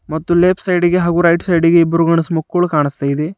ಮತ್ತು ಲೆಫ್ಟ್ ಸೈಡಿ ಗೆ ಹಾಗೂ ರೈಟ್ ಸೈಡಿ ಗೆ ಇಬ್ರು ಗಂಡ್ಸು ಮಕ್ಕಳು ಕಾಣಿಸ್ತಾ ಇದೆ.